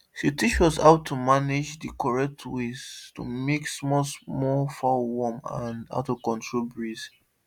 she teach us how to manage the correct way to make small small fowl warm and how to control breeze